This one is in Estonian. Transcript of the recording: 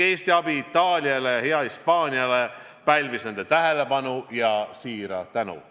Eesti abi Itaaliale ja Hispaaniale pälvis nende tähelepanu ja siira tänu.